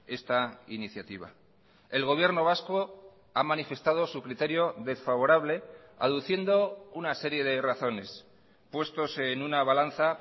esta iniciativa el gobierno vasco ha manifestado su criterio desfavorable aduciendo una serie de razones puestos en una balanza